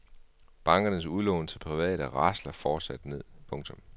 Bankernes udlån til private rasler fortsat ned. punktum